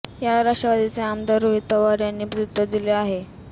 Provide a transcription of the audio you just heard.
याला राष्ट्रवादीचे आमदार रोहित पवार यांनी प्रत्युत्तर दिलं आहे